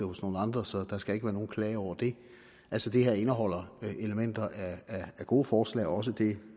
hos nogle andre så der skal ikke være nogen klage over det altså det her indeholder elementer af gode forslag også det